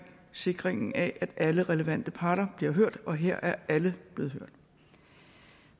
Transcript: sikringen af at alle relevante parter bliver hørt og her er alle blevet hørt